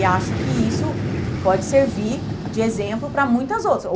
E acho que isso pode servir de exemplo para muitas outras.